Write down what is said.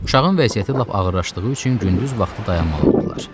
Uşağın vəziyyəti lap ağırlaşdığı üçün gündüz vaxtı dayanmalı oldular.